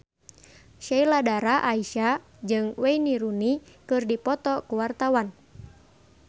Sheila Dara Aisha jeung Wayne Rooney keur dipoto ku wartawan